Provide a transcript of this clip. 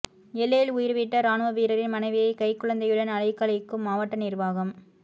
எல்லையில் உயிர்விட்ட ராணுவ வீரரின் மனைவியை கைக் குழந்தையுடன் அலைக்கழிக்கும் மாவட்ட நிர்வாகம்